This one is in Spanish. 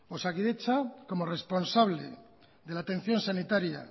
osakidetza como responsable de la atención sanitaria